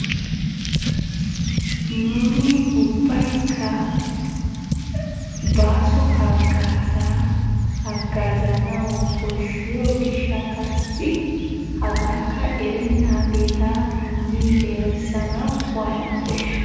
Nuuni ubbaykka baaso hagaaza hagaazanawu koshshiyo gishshattassi hagaakka erenaagetta erissanawu nuuni waatana koshshii?